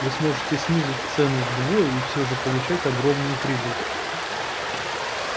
вы сможете снизить цену вдвое и всё же получать огромную прибыль